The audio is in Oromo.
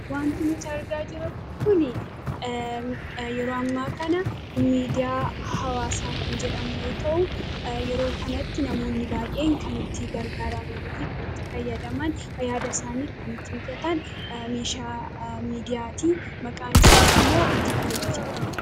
Waanti nuti argaa jirru Kun, yeroo ammaa kana miidiyaa hawaasaa kan jedhamu yoo ta'u, yeroo ammaa kanatti namoonni baayyeen itti gargaaramanii fi itti fayyadaman yaada isaanii kan ittiin ibsatan meeshaa miidiyaati. Maqaan isaas immoo tiktookii jedhama.